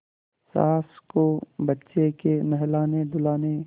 सास को बच्चे के नहलानेधुलाने